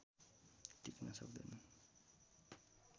टिक्न सक्दैनन्